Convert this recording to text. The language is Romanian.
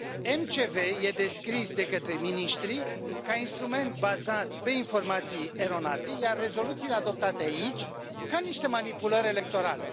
MCV este descris de către miniștrii ca instrument bazat pe informații eronate, iar rezoluțiile adoptate aici ca niște manipulări electorale.